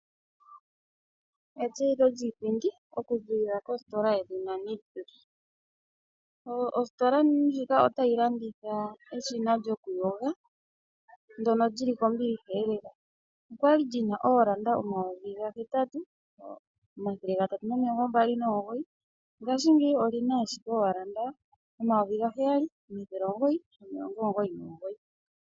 Etseyitho lyiipindi okuziilila kostola yedhina Nictus. Ostola ndjika otayi landula eshina lyokuyoga ndyono li li kombilihalela. Olya li li na oolanda omayovi gahetatu, omathele gatatu nomilongo mbali nomugoyi, ngashingeyi oli na ashike oolanda omayovi gaheyali omathele omugoyi nomilongo omugoyi nomugoyi.